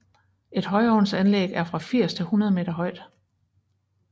Et højovnsanlæg er fra 80 til 100 meter højt